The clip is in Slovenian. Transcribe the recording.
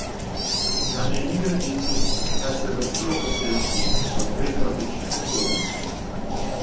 Na eni gredici naj se vrstijo posevki v treh različnih obdobjih.